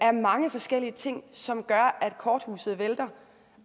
af mange forskellige ting som gør at korthuset vælter